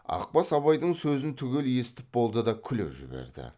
ақбас абайдың сөзін түгел естіп болды да күліп жіберді